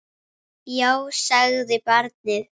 Já, sagði barnið.